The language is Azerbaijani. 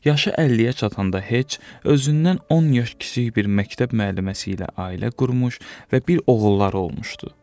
Yaşı 50-yə çatanda Heç özündən 10 yaş kiçik bir məktəb müəlliməsi ilə ailə qurmuş və bir oğulları olmuşdu.